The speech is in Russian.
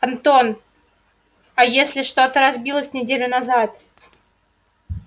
антон а если что-то разбилось неделю назад